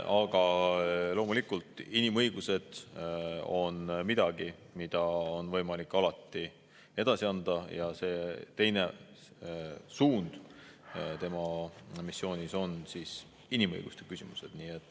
Aga loomulikult, inimõiguste teema on midagi, mida on võimalik alati edasi anda, ja teine suund tema missioonis on inimõiguste küsimused.